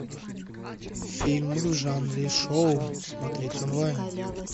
фильм в жанре шоу смотреть онлайн